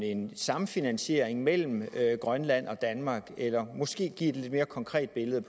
en samfinansiering mellem grønland og danmark eller kan hun måske give et lidt mere konkret billede